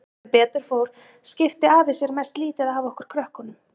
Sem betur fór skipti afi sér mest lítið af okkur krökkunum.